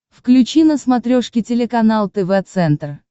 включи на смотрешке телеканал тв центр